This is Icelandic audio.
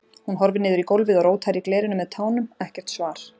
Hún horfir niður í gólfið og rótar í glerinu með tánum, ekkert svar.